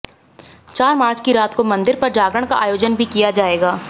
चार मार्च की रात को मंदिर पर जागरण का आयोजन भी किया जाएगा